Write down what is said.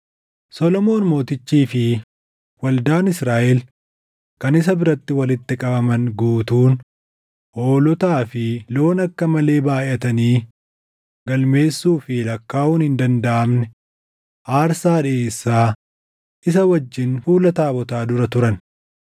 Solomoon Mootichii fi waldaan Israaʼel kan isa biratti walitti qabaman guutuun hoolotaa fi loon akka malee baayʼatanii galmeessuu fi lakkaaʼuun hin dandaʼamne aarsaa dhiʼeessaa isa wajjin fuula taabotaa dura turan.